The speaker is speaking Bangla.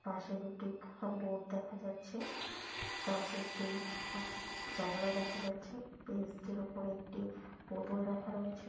পাশে দুটি বোর্ড দেখা যাচ্ছে পাশে একটি ফা-জানালা দেখা যাচ্ছে বেঞটির উপরে একটি বোতল রাখা রয়েছে।